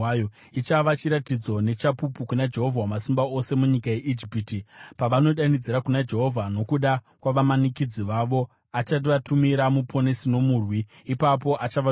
Ichava chiratidzo nechapupu kuna Jehovha Wamasimba Ose munyika yeIjipiti. Pavanodanidzira kuna Jehovha nokuda kwavamanikidzi vavo, achavatumira muponesi nomurwiri, ipapo achavanunura.